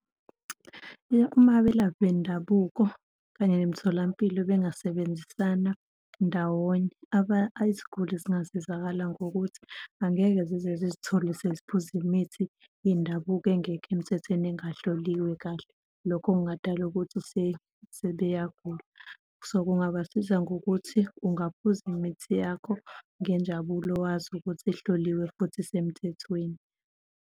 Uma abelaphi bendabuko kanye nemitholampilo bengasebenzisana ndawonye iziguli zingasizakala ngokuthi angeke zize zizithole siziphuza imithi yendabuko engekho emthethweni, engahloliwe kahle, lokho kungadala ukuthi sebeyagula. So, kungabasiza ngokuthi ungaphuza imithi yakho ngenjabulo wazi ukuthi ihloliwe futhi isemthethweni.